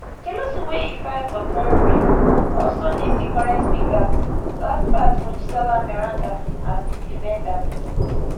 di lawsuit wey e file for february also name di current speaker lasbat mojisola meranda as di defendant